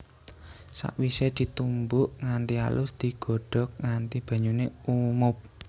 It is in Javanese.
Sakwisé ditumbuk nganti alus digodhog nganti banyuné umob